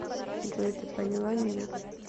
джой ты поняла меня